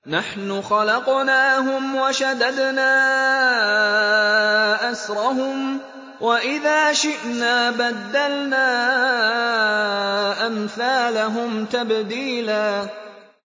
نَّحْنُ خَلَقْنَاهُمْ وَشَدَدْنَا أَسْرَهُمْ ۖ وَإِذَا شِئْنَا بَدَّلْنَا أَمْثَالَهُمْ تَبْدِيلًا